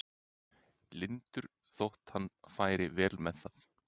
lyndur þótt hann færi vel með það.